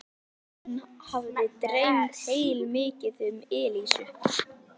Hann hafði dreymt heilmikið um Elísu.